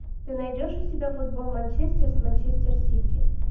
ты найдешь у себя футбол манчестер с манчестер сити